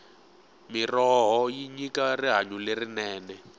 mirhoho yi nyika rihanyo lerinene